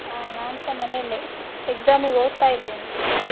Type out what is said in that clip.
ಹಾ ನಾನ್ಸ ಮನೆಯಲ್ಲೇ, exam ಗೆ ಓದ್ತಾ ಇದ್ದೇನೆ.